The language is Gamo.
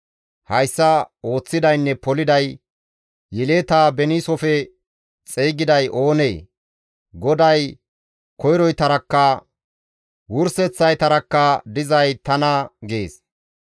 Hayssa ooththidaynne poliday yeletaa beniisofe xeygiday oonee? GODAY koyroytarakka wurseththaytarakka dizay tana» gees.